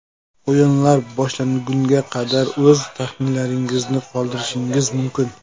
O‘yinlar boshlangunga qadar o‘z taxminlaringizni qoldirishingiz mumkin.